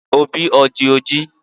Obi o di oji?